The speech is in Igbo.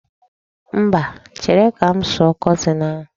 Mba, chere ka m sụọ kọtin ahụ.